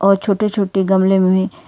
और छोटे छोटे गमले में--